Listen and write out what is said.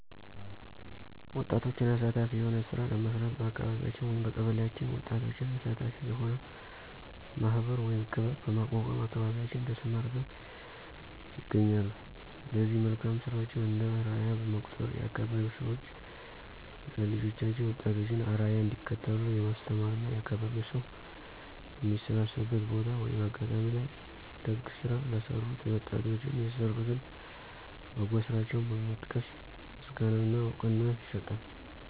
ወጣቶችን አሳታፊ የሆነ ስራ ለመስራት በአካቢያችን/በቀበሌአችን ወጣቶችን አሳታፊ የሆነ ማህበር(ክበብ) በማቋቋም አካባቢያችን ተሰማርተው ይገኛሉ ለዚህ መልካም ስራቸው እንደ አርያ በመቁጠር የአካባቢዉ ሰዎች ለልጆቻቸው የወጣቶችን አርያ እንዲከተሉ የማስተማር እና የአካባቢው ሰው በሚሰባሰብበት ቦታ(አጋጣሚ) ላይ ደግ ስራ ለሰሩት የወጣቶን የሰሩትን በጎ ስራቸውን በመጥቀስ ምስጋና እና እውቅና ይሰጣል።